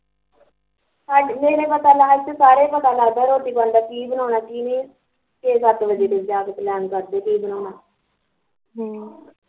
ਸਾਡੇ ਮੇਰੇ ਕੋਲ ਤਾਂ ਹਾਲ ਚ ਪਤਾ ਲੱਗਦਾ ਰੋਟੀ ਪਾਣੀ ਚ ਕੀ ਬਣਾਉਨਾ ਕੀ ਨਹੀਂ, ਤੇ ਕਈ ਵਾਰੀ ਸੱਤ ਵਜੇ ਜਾਂ ਕੇ plan ਕਰਦੇ ਵੀ ਕੀ ਬਣਾਉਨਾ ਹਮ